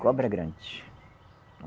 Cobra grande.